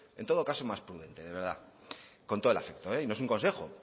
en todo caso más prudente de verdad con todo el afecto y no es un consejo